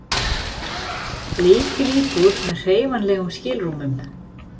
Lítil íbúð með hreyfanlegum skilrúmum.